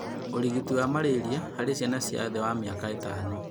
Ũrigiti wa malaria harĩ ciana cia thĩ wa mĩaka ĩtano